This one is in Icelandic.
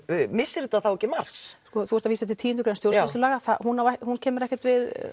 missir þetta þá ekki marks sko þú ert að vísa til tíu greinar stjórnsýslulaga hún kemur ekkert